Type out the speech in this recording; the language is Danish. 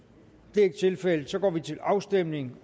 det er ikke tilfældet og så går vi til afstemning